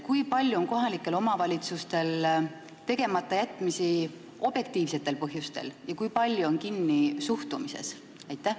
Kui palju on kohalikel omavalitsustel tegematajätmisi objektiivsetel põhjustel ja kui palju on kinni suhtumises?